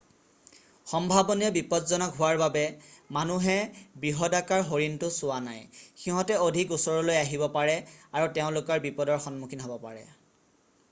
সম্ভাৱনীয় বিপজ্জনক হোৱাৰ বাবে মানুহে বৃহদাকাৰ হৰিণটো চোৱা নাই সিঁহত অধিক ওচৰলৈ আহিব পাৰে আৰু তেওঁলোক বিপদৰ সন্মুখীন হ'ব পাৰে